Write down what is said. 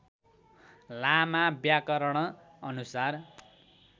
लामा व्याकरण अनुसार